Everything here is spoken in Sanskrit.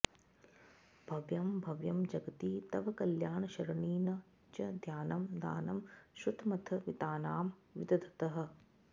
भव्यं भव्यं जगति तव कल्याणशरणी न च ध्यानं दानं श्रुतमथ वितानां विदधतः